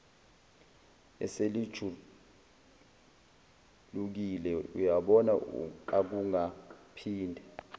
eselijulukile uyabona akungaphinde